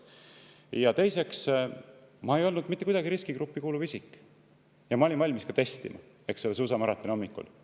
Ja teiseks, ma ei olnud mitte kuidagi riskigruppi kuuluv isik ja olin valmis end testima suusamaratoni hommikul.